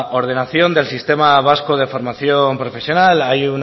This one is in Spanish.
ordenación del sistema vasco de formación profesional hay